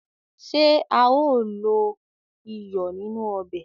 Ṣé a ó lo iyọ̀ nínú ọbè?